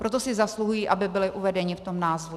Proto si zasluhují, aby byli uvedeni v tom názvu.